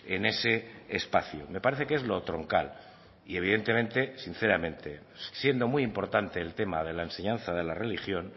en ese espacio me parece que es lo troncal y evidentemente sinceramente siendo muy importante el tema de la enseñanza de la religión